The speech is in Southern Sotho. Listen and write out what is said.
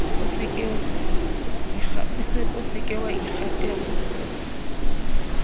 o se ke wa ikgatella